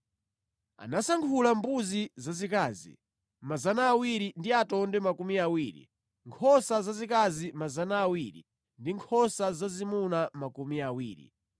Anasankhula mbuzi zazikazi 200 ndi atonde makumi awiri, nkhosa zazikazi 200 ndi nkhosa zazimuna makumi awiri,